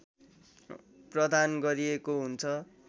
प्रदान गरिएको हुन्छ